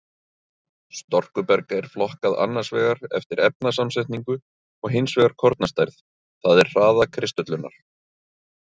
Storkuberg er flokkað annars vegar eftir efnasamsetningu og hins vegar kornastærð, það er hraða kristöllunar.